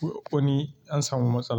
ko an samu matsala.